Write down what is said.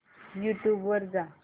YouTube वर जा